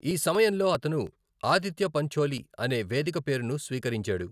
ఈ సమయంలో అతను ఆదిత్య పంచోలి అనే వేదిక పేరును స్వీకరించాడు.